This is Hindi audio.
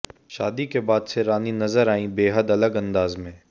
शादी के बाद से रानी नज़र आईं बेहद अलग अंदाज में